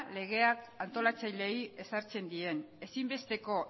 legeak antolatzaileei ezartzen dien ezinbesteko